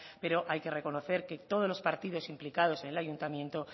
pero hay que reconocer que todos los partidos implicados en el ayuntamiento